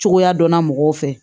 Cogoya dɔnna mɔgɔw fɛ